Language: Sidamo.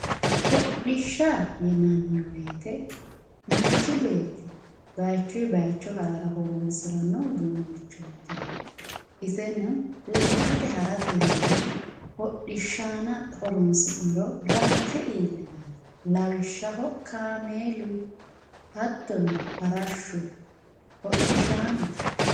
hodhishsha yinanni woyiite manchi beetti bayiichuyii bayiicho harara horoonsiranno uduunnichooti iseno lekkate haratenni hodhishshaana horoonsi'niro ranke iillinanno lawishshaho kaameelu hattono farashshu hodhishaanote.